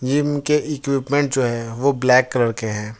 Gym के equipment जो है वो ब्लैक कलर के हैं।